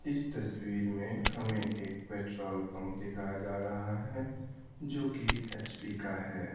इस तस्वीर में हमें एक पेट्रोल पंप दिखाया जा रहा है जो कि एच_पी का है।